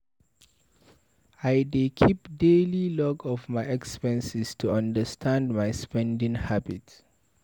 I dey keep daily log of my expenses to understand my spending habits.